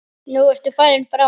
Nú ertu farinn frá mér.